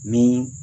Ni